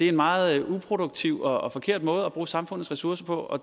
en meget uproduktiv og forkert måde at bruge samfundets ressourcer på og